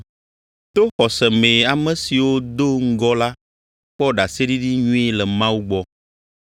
To xɔse mee ame siwo do ŋgɔ la kpɔ ɖaseɖiɖi nyui le Mawu gbɔ.